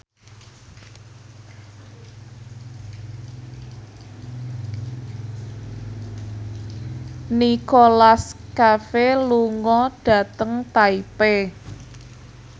Nicholas Cafe lunga dhateng Taipei